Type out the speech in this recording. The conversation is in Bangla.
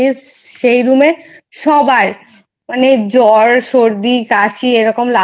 সেই Room এ সবার মানে জ্বর সর্দি কাশি এরকম